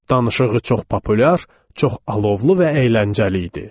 Danışığı çox populyar, çox alovlu və əyləncəli idi.